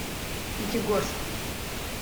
пятигорск